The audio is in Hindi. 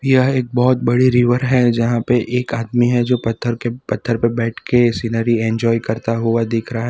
यह एक बहुत बड़ी रिवर है जहां पे एक आदमी है जो पत्थर के पत्थर पर बैठ के सीनरी एंजॉय करता हुआ दिख रहा है।